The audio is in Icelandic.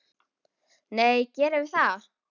Nei, gerðum við það?